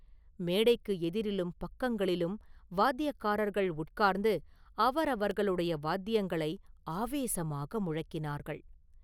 மேடைக்கு எதிரிலும் பக்கங்களிலும் வாத்தியக்காரர்கள் உட்கார்ந்து அவரவர்களுடைய வாத்தியங்களை ஆவேசமாக முழக்கினார்கள்.